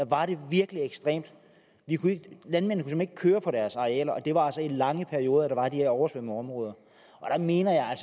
var det virkelig ekstremt landmændene ikke køre på deres arealer og det var altså i lange perioder der var de her oversvømmede områder og der mener jeg